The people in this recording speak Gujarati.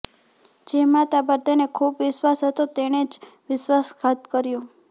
જે માતા પર તેને ખૂબ વિશ્વાસ હતો તેણે જ વિશ્વાસઘાત કર્યો